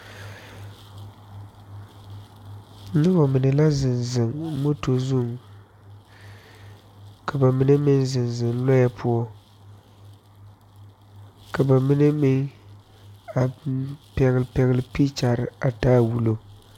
Noba mine la zeŋ zeŋ moto zuŋ, ka ba mine meŋ zeŋ zeŋ lɔɛ poɔ, ka ba mine meŋ a pegle pegle pekyɛre a taa wulo.